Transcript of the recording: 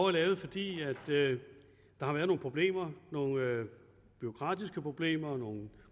er lavet fordi der har været nogle problemer nogle bureaukratiske problemer nogle